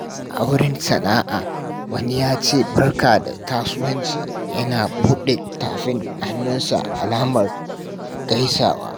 A wurin sana’a, wani ya ce, "Barka da kasuwanci" yana buɗe tafin hannunsa alamar gaisuwa.